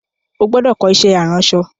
O gbúdọ̀ kọ́ iṣẹ́ aránsọ!